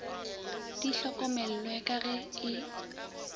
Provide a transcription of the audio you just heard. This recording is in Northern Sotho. di hlokomellwe ka ge e